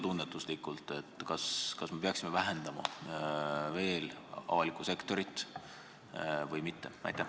Kuidas sa tunnetad, kas me peaksime avalikku sektorit veel vähendama või mitte?